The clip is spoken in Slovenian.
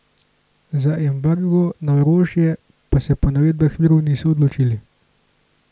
Za embargo na orožje pa se po navedbah virov niso odločili.